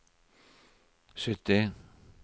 sytti